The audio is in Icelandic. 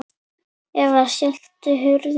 Eva: Skelltu hurðum og svona?